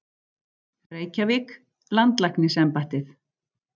Reykjavík: Landlæknisembættið.